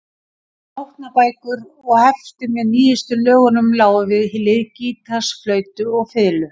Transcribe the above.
Nótnabækur og hefti með nýjustu lögunum lágu við hlið gítars, flautu og fiðlu.